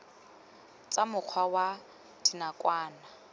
tsa mokgwa wa nakwana o